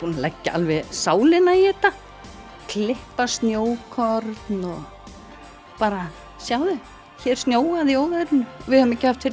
leggja alveg sálina í þetta klippa snjókorn og bara sjáðu hér snjóaði í óveðrinu við höfum ekki haft fyrir